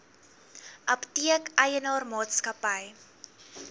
apteek eienaar maatskappy